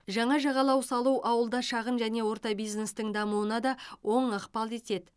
жаңа жағалау салу ауылда шағын және орта бизнестің дамуына да оң ықпал етеді